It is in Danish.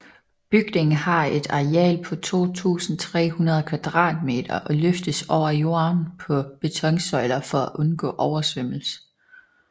Bygningen har et areal på 2300 kvadratmeter og løftes over jorden på betonsøjler for at undgå oversvømmelse